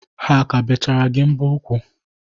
Ha ka bechara gi mbo ụkwụ?